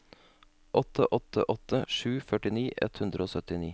åtte åtte åtte sju førtini ett hundre og syttini